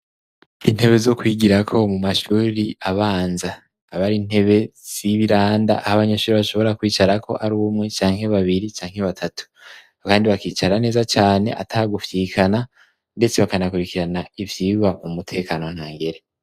Intebe zo kwigirako mumashure abanza aba ar'intebe z'ibiranda ah'abanyeshure bashobora kwicarako arumwe canke babiri canke batatu kandi bakicara neza cane atagufyikana ndetse bakanakurikirana ivyigwa m'umutekano ntangere.